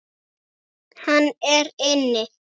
Hann er inni.